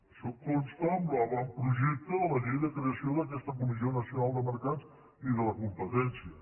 això consta en l’avant·projecte de la llei de creació d’aquesta comissió naci·onal de mercats i de la competència